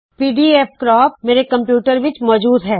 PDF ਕਰੈਪ ਮੇਰੇ computer ਵਿੱਚ ਪਹਲੇ ਹੀ ਮੋਜੂਦ ਹੈ